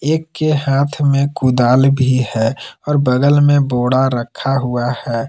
एक के हाथ में कुदाल भी है और बगल में बोड़ा रखा हुआ है।